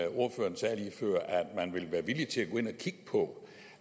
man ville være villig til at gå ind og kigge på